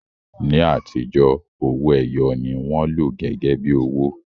Ní àtijọ́, owó ẹyọ ni wọ́n lò gẹ́gẹ́ bí owó